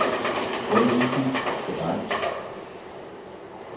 Hvad er vigtigst for dig?